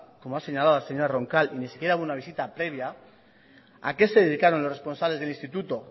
como ha señalado la señora roncal y ni siquiera hubo una visita previa a qué se dedicaron los responsables del instituto